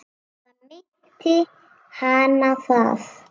Eða minnti hana það?